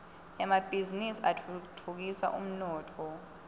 emabhiznnisi atfutfukisa umnotfo